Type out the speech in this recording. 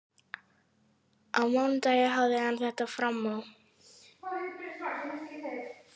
Á mánudaginn hafði hann þetta fram á.